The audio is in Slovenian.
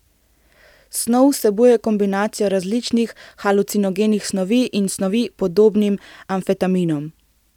Snov vsebuje kombinacijo različnih halucinogenih snovi in snovi, podobnih amfetaminom.